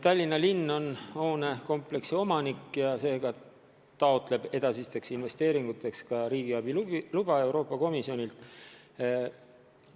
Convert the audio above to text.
Tallinna linn on hoonekompleksi omanik ja taotleb edasisteks investeeringuteks Euroopa Komisjonilt riigiabi luba.